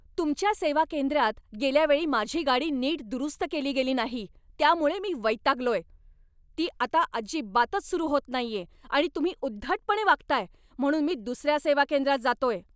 तुमच्या सेवा केंद्रात गेल्या वेळी माझी गाडी नीट दुरुस्त केली गेली नाही त्यामुळं मी वैतागलोय. ती आता अजिबातच सुरू होत नाहीये आणि तुम्ही उद्धटपणे वागताय, म्हणून मी दुसऱ्या सेवा केंद्रात जातोय.